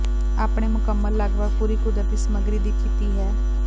ਆਪਣੇ ਮੁਕੰਮਲ ਲਗਭਗ ਪੂਰੀ ਕੁਦਰਤੀ ਸਮੱਗਰੀ ਦੀ ਕੀਤੀ ਹੈ